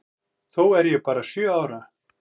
Þó er ég bara sjö ára.